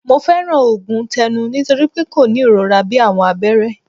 Mo fẹran oogun tẹnu nitori pe ko ni irora bii awọn abẹrẹ